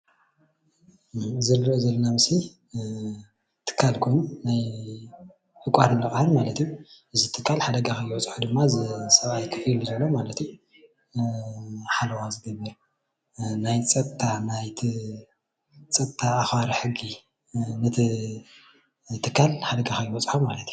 ኢዚ እንሪኦ ዘለና ምስሊ ትካል ኮይኑ ዕቋርን ልቃሕን ማለት እዩ፣ እዚ ትካል ሓደጋ ከይበፅሖ ድማ እዚ ሰብኣይ ኮፍ ኪሉ ዝሕሉ ዘሎ ሓለዋ ዝገብር ናይ ፀጥታ ኣክባሪ ሕጊ ነቲ ትካል ሓደጋ ከይበፅሖ ማለት እዩ፡፡